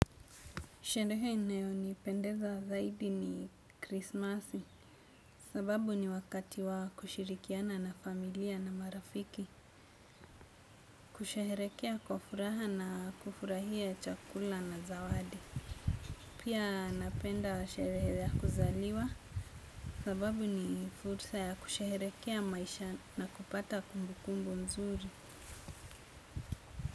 Sherehe inayonipendeza zaidi ni krismasi. Sababu ni wakati wa kushirikiana na familia na marafiki. Kusherehekea kwa furaha na kufurahia chakula na zawadi. Pia napenda sherehe ya kuzaliwa. Sababu ni fursa ya kusherehekea maisha na kupata kumbukumbu nzuri.